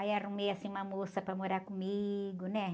Aí arrumei, assim, uma moça para morar comigo, né?